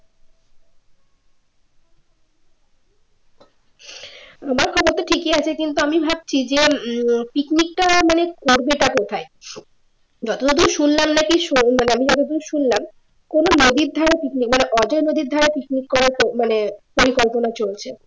তোমার কথা তো ঠিকই আছে কিন্তু আমি ভাবছি যে উম picnic টা মানে করবে টা কোথায় যতদূর শুনলাম নাকি মানে আমি যতদূর শুনলাম কোন নদীর ধারে picnic মানে নদীর ধারে picnic করার মানে পরিকল্পনা চলছে